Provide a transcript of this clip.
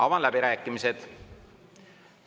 Avan läbirääkimised.